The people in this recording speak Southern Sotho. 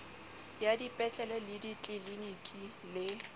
ya dipetlele le ditliliniki le